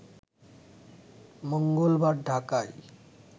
মঙ্গলবার ঢাকায়